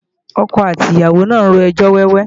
Ọkọ àti ìyàwó náà ń rojọ́ wẹ́wẹ́